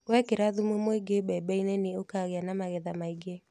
Wekĩra thumu muingĩ mbembe-inĩ nĩ ũkagia na magetha maingĩ